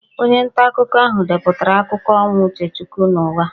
Onye ntaakụkọ ahụ depụtara akụkọ ọnwụ Uchechukwu n'ụgha